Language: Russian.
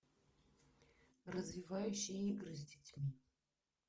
развивающие игры с детьми